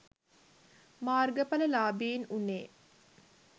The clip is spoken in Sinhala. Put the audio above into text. මාර්ගඵල ලාභීන් වුනේ.